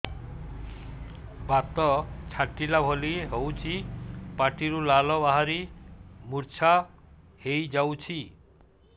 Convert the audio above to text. ବାତ ଛାଟିଲା ଭଳି ହଉଚି ପାଟିରୁ ଲାଳ ବାହାରି ମୁର୍ଚ୍ଛା ହେଇଯାଉଛି